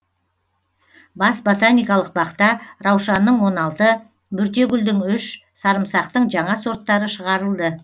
бас ботаникалық бақта раушанның он алты бөртегүлдің үш сарымсақтың жаңа сорттары шығарылды